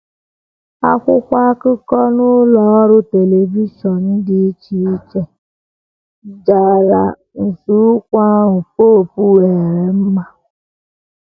Akwụkwọ akụkọ na ụlọ ọrụ telivishọn dị iche iche iche jara nzọụkwụ ahụ popu weere mma.